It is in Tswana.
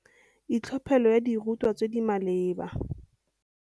Itlhophelo ya dirutwa tse di maleba.